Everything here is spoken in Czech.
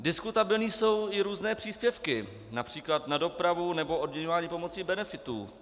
Diskutabilní jsou i různé příspěvky, například na dopravu, nebo odměňování pomocí benefitů.